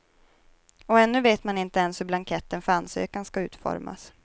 Och ännu vet man inte ens hur blanketten för ansökan ska utformas.